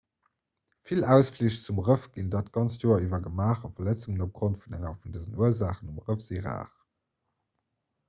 vill ausflich zum rëff ginn dat ganzt joer iwwer gemaach a verletzungen opgrond vun enger vun dësen ursaachen um rëff si rar